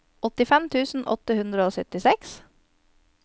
åttifem tusen åtte hundre og syttiseks